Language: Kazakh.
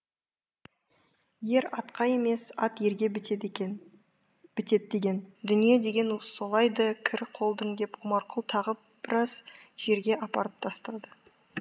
ер атқа емес ат ерге бітеді деген дүние деген солай ды кірі қолдың деп омарқұл тағы біраз жерге апарып тастады